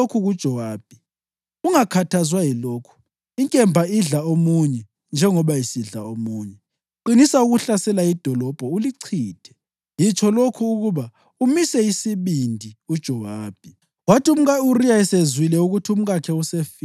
UDavida watshela isithunywa wathi, “Yitsho lokhu kuJowabi: ‘Ungakhathazwa yilokhu; inkemba idla omunye njengoba isidla omunye. Qinisa ukuhlasela idolobho, ulichithe.’ Yitsho lokhu ukuba umise isibindi uJowabi.”